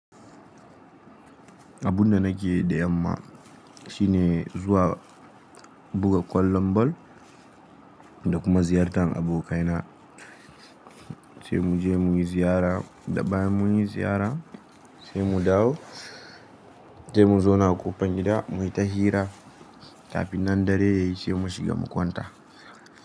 Abunda nake yi da yamma shine zuwa buga kwallon bal da kuma ziyartar abokaina sai mu je muyi ziyara da bayan munyi ziyara sai mu dawo, sai mu zauna a ƙofar gida muyi ta hira kafin nan dare yayi sai mu shiga mu kwanta.